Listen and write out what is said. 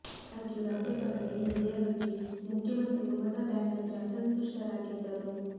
ಆದಾಗ್ಯೂ ರಾಜ್ಯಪಾಲರ ಈ ನಡೆಯ ಬಗ್ಗೆ ಮುಖ್ಯಮಂತ್ರಿ ಮಮತಾ ಬ್ಯಾನರ್ಜಿ ಅಸಂತುಷ್ಟರಾಗಿದ್ದರು